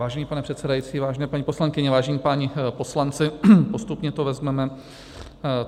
Vážený pane předsedající, vážené paní poslankyně, vážení páni poslanci, postupně to vezmeme.